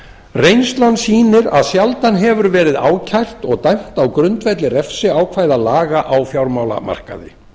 reynslan sýnir að sjaldan hefur verið ákært og dæmt á grundvelli refsiákvæða laga á fjármálamarkaði